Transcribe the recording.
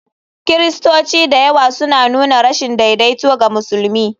Kiristoci da yawa suna nuna rashin daidaito ga musulmi.